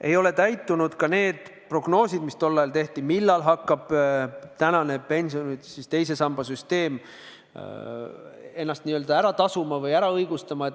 Ei ole täitunud ka prognoosid, mis tol ajal tehti: millal hakkab pensionisüsteemi teine sammas ennast ära tasuma või end õigustama.